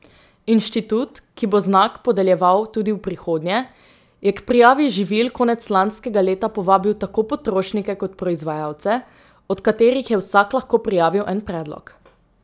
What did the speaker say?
Inštitut, ki bo znak podeljeval tudi v prihodnje, je k prijavi živil konec lanskega leta povabil tako potrošnike kot proizvajalce, od katerih je vsak lahko prijavil en predlog.